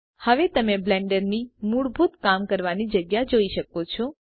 હવે તમે બ્લેન્ડરની મૂળભૂત કામ કરવાની જગ્યા જોઈ શકો છો